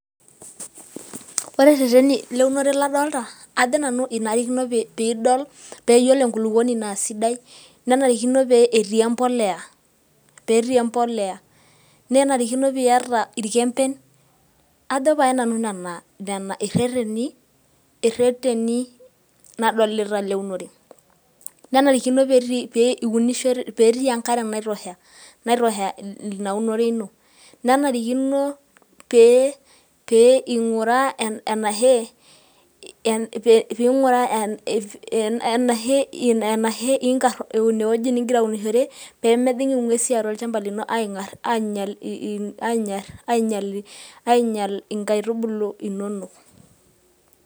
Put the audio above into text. ore reteni leunore ladoolta, ajo nanu enarikino, pee idol, pee iyiolo enkulupuoni naa siddai, nenarikino pee etii empoleya, nenarikino pee iyata irkemben. ajo pae nanu nena, ireteni, ladolita leunore, nenarikino pee iunisho, pee etii enkare naitosha, ina unore ino, nenarikino pee pee,